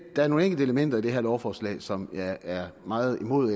er nogle enkelte elementer i det her lovforslag som jeg er meget imod